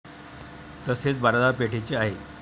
तसेच बाजारपेठेचे आहे.